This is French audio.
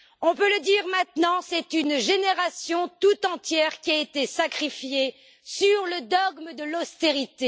On peut le dire maintenant, c'est une génération tout entière qui a été sacrifiée au dogme de l'austérité.